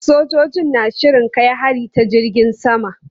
Sojojin na shirin kai hari ta jirgin sama.